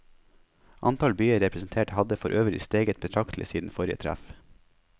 Antall byer representert hadde forøvrig steget betraktlig siden forrige treff.